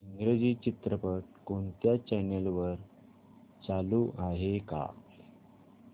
इंग्रजी चित्रपट कोणत्या चॅनल वर चालू आहे का